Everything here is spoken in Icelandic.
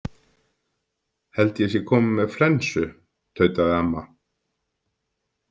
Held að ég sé komin með flensu, tautaði amma.